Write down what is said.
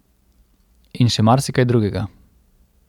In še marsikaj drugega.